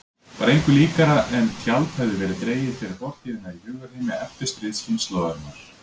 Var engu líkara en tjald hefði verið dregið fyrir fortíðina í hugarheimi eftirstríðskynslóðarinnar.